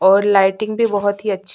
और लाइटिंग भी बहुत ही अच्छी--